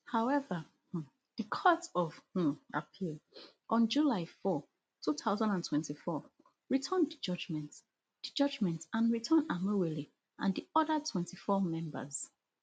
however um di court of um appeal on four july two thousand and twenty-four overturn di judgement di judgement and return amaewhule and di oda twenty-four members